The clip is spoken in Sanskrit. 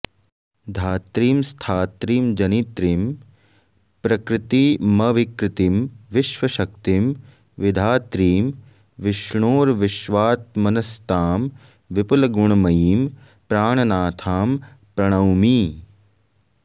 धात्रीं स्थात्रीं जनित्रीं प्रकृतिमविकृतिं विश्वशक्तिं विधात्रीम् विष्णोर्विश्वात्मनस्तां विपुलगुणमयीं प्राणनाथां प्रणौमि